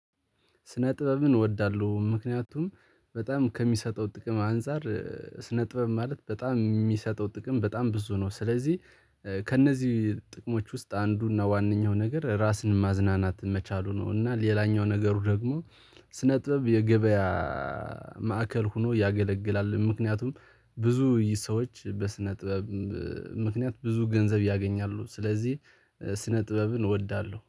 ስነ ጥበብን እወዳለሁ ምክንያቱም በጣም ከሚሰጠው ጥቅም አንፃር ስነ ጥበብ ማለት በጣም የሚሰጠው ጥቅም በጣም ብዙ ነው። ስለዚህ ከእነዚህ ጥቅሞች ውስጥ አንዱና ዋነኛው ነገር ራስን ማዝናናት መቻሉ ነው። እና ሌላኛው ነገሩ ደግሞ ስነጥበብ የገበያ ማዕከል ሆኖ ያገለግላል። ምክንያቱም ብዙ ሰዎች በስነ ጥበብ ምክንያት ብዙ ገንዘብ ያገኛሉ። ስለዚህ ስነ ጥበብን እወዳለሁ